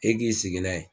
E k'i sigi n'a ye